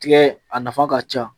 Tigɛ a nafa ka ca